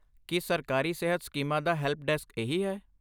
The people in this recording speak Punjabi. ਕੀ ਸਰਕਾਰੀ ਸਿਹਤ ਸਕੀਮਾਂ ਦਾ ਹੈਲਪ ਡੈਸਕ ਇਹੀ ਹੈ?